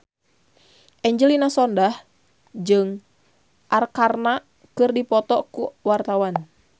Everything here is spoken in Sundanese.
Angelina Sondakh jeung Arkarna keur dipoto ku wartawan